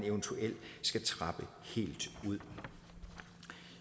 eventuelt skal trappe helt ud